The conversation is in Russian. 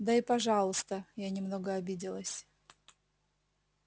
да и пожалуйста я немного обиделась